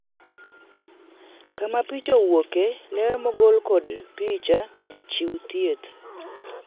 kama picha owuoke ,ler mogol kod picha ,jachiw thieth